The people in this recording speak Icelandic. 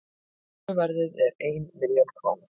söluverðið er einn milljón króna